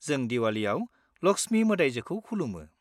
जों दिवालीयाव लक्ष्मी मोदाइजोखौ खुलुमो।